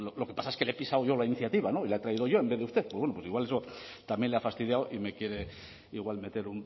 lo que pasa es que le he pisado yo la iniciativa no y la he traído yo en vez de usted pues bueno pues igual eso también le ha fastidiado y me quiere igual meter